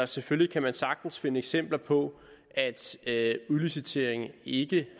selvfølgelig kan man sagtens finde eksempler på at udlicitering ikke